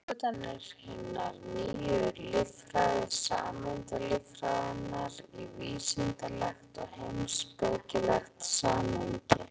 Í bókinni setur hann uppgötvanir hinnar nýju líffræði, sameindalíffræðinnar, í vísindalegt og heimspekilegt samhengi.